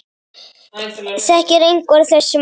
Þekkir einhver þessi mál?